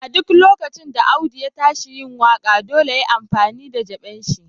A duk lokacin da Audu ya tashi yin waka, dolle ya yi amfani da d'jeben shi.